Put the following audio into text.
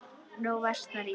Nú versnar í því.